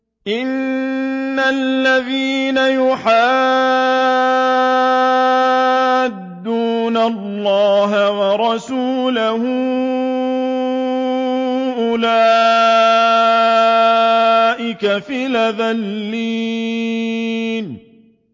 إِنَّ الَّذِينَ يُحَادُّونَ اللَّهَ وَرَسُولَهُ أُولَٰئِكَ فِي الْأَذَلِّينَ